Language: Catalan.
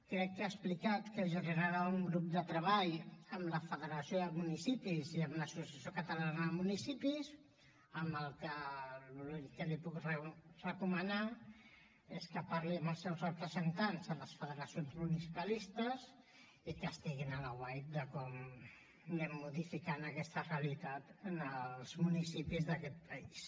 crec que ha explicat que generarà un grup de treball amb la federació de municipis i amb l’associació catalana de municipis amb la qual cosa l’únic que li puc recomanar és que parli amb els seus representants a les federacions municipalistes i que estiguin a l’aguait de com anem modificant aquesta realitat en els municipis d’aquest país